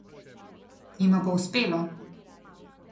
Jima bo uspelo?